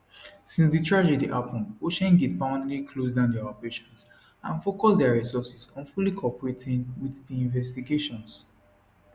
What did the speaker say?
since di tragedy happun oceangate permanently close down dia operations and focuse dia resources on fully cooperating wit di investigations